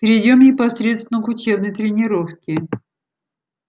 перейдём непосредственно к учебной тренировке